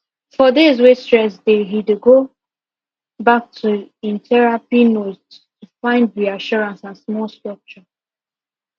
for days wey stress dey he dey go back to him therapy notes to find reassurance and small structure